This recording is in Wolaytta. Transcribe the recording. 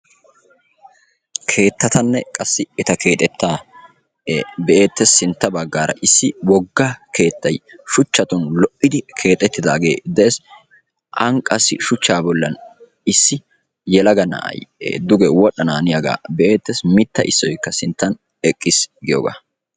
Keettatanne qassi eta keexxeta be"ettees. Sintta baggaara issi wogga keettay shuchchatun lo"idi keexxetidaage de'ees. An qassi shuchcha bollan issi yelaga na'ay duge wodhdhananiyaaga be'ettees. Mitta issoykka sintta eqqiis giyooga.